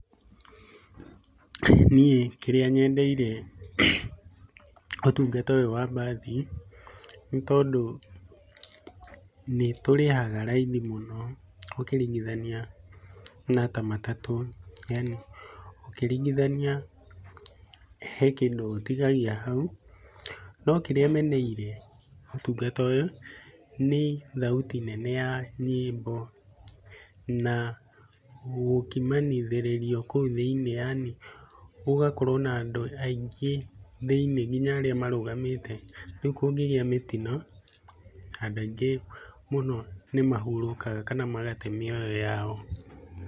Niĩ kĩrĩa nyendeire ũtungata ũyũ wa mbathi nĩtondũ nĩtũrĩhaga raithi mũno ũkĩringithania na ta matatũ yaani ũkĩringithania he kĩndũ ũtigagia hau. Nokĩrĩa meneire ũtungata ũyũ nĩ thauti nene ya nyĩmbo na gũkimanithĩrĩrio kũu thĩini yaani gũgakorwo na andũ aningĩ kũu thĩinĩ nginya arĩa marũgamĩte. Rĩu kũngĩgĩa mĩtino andũ aingĩ mũno nĩmahurũkaga kana magate mĩoyo yao.